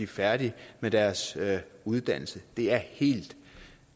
færdige med deres uddannelse det er helt